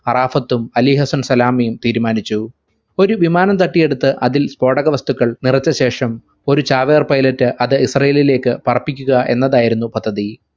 അറാഫത്തും Ali Hassan സലാമിയും തീരുമാനിച്ചു ഒരു വിമാനം തട്ടിയെടുത്ത് അതിൽ സ്‌ഫോടക വസ്തുക്കൾ നിറച്ച ശേഷം ഒരു ചാവേർ pilot അത് ഇസ്രായേലിലേക്ക് പറപ്പിക്കുക്ക എന്നതായിരുന്നു പദ്ധതി